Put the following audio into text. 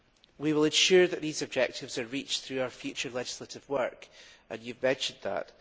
We will ensure that these objectives are reached through our future legislative work, and you have mentioned that.